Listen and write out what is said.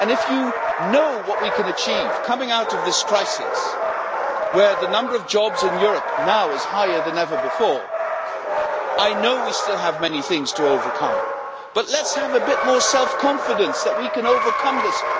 And if you know what we can achieve coming out of this crisis, where the number of jobs in Europe now is higher than ever before I know we still have many things to overcome but let us have a bit more self confidence that we can overcome this.